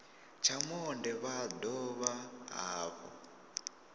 tsha monde vha dovha hafhu